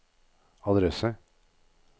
adresse